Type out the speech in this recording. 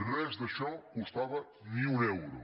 res d’això costava ni un euro